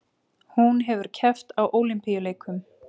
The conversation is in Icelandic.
Hún hefur keppt á Ólympíuleikum